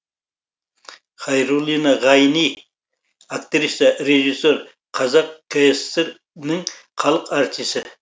хайруллина ғайни актриса режиссер қазақ кср інің халық артисі